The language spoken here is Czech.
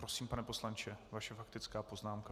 Prosím, pane poslanče, vaše faktická poznámka.